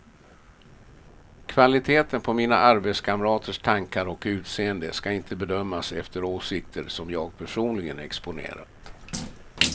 Kvaliteten på mina arbetskamraters tankar och utseende ska inte bedömas efter åsikter som jag personligen exponerat.